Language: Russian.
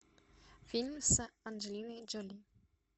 фильм с анджелиной джоли